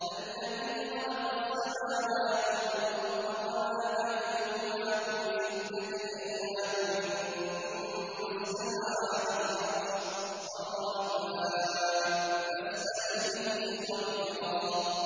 الَّذِي خَلَقَ السَّمَاوَاتِ وَالْأَرْضَ وَمَا بَيْنَهُمَا فِي سِتَّةِ أَيَّامٍ ثُمَّ اسْتَوَىٰ عَلَى الْعَرْشِ ۚ الرَّحْمَٰنُ فَاسْأَلْ بِهِ خَبِيرًا